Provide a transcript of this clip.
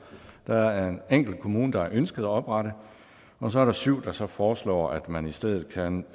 der er en enkelt kommune der har ønsket at oprette og så er der syv der så foreslår at man i stedet kan